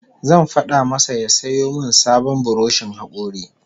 Zan fada masa ya sayo min sabon buroshin hakori